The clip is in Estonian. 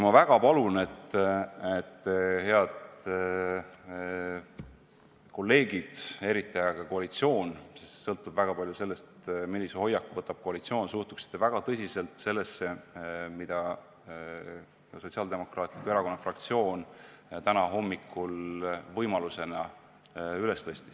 Ma väga palun, head kolleegid, eriti aga koalitsioon – sest väga palju sõltub sellest, millise hoiaku võtab koalitsioon –, et suhtuksite väga tõsiselt sellesse, mille Sotsiaaldemokraatliku Erakonna fraktsioon täna hommikul võimaliku olukorrana esile tõi.